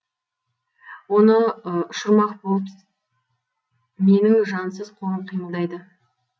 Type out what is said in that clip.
оны ұшырмақ болып менің жансыз қолым қимылдайды